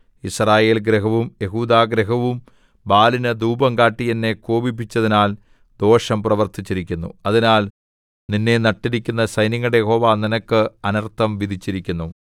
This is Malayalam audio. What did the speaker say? യിസ്രായേൽ ഗൃഹവും യെഹൂദാഗൃഹവും ബാലിനു ധൂപം കാട്ടി എന്നെ കോപിപ്പിച്ചതിനാൽ ദോഷം പ്രവർത്തിച്ചിരിക്കുന്നു അതിനാൽ നിന്നെ നട്ടിരിക്കുന്ന സൈന്യങ്ങളുടെ യഹോവ നിനക്ക് അനർത്ഥം വിധിച്ചിരിക്കുന്നു